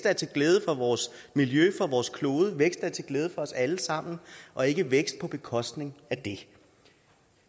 er til glæde for vores miljø for vores klode vækst der er til glæde for os alle sammen og ikke vækst på bekostning af det